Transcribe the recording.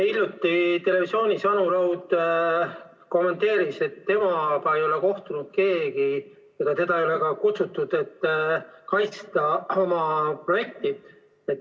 Hiljuti televisioonis Anu Raud kommenteeris, et temaga ei ole keegi kohtunud, teda ei ole ka kuhugi kutsutud, et ta saaks oma projekti kaitsta.